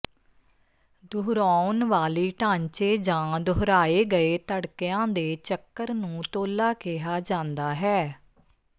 ਦੁਹਰਾਉਣ ਵਾਲੀ ਢਾਂਚੇ ਜਾਂ ਦੁਹਰਾਏ ਗਏ ਧੜਕਿਆਂ ਦੇ ਚੱਕਰ ਨੂੰ ਤੋਲਾ ਕਿਹਾ ਜਾਂਦਾ ਹੈ